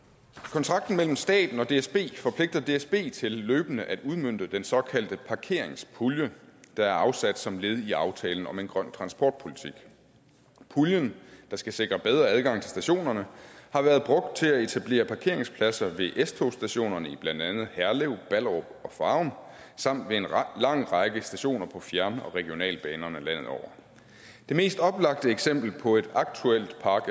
kontrakten mellem staten og dsb forpligter dsb til løbende at udmønte den såkaldte parkeringspulje der er afsat som led i aftalen om en grøn transportpolitik puljen der skal sikre bedre adgang til stationerne har været brugt til at etablere parkeringspladser ved s togstationerne i blandt andet herlev ballerup og farum samt ved en lang række stationer på fjern og regionalbanerne landet over det mest oplagte eksempel på et aktuelt park